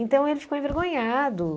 Então ele ficou envergonhado.